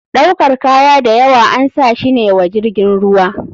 Ɗaukar kaya dayawa ansashi ne wa jirgin ruwa.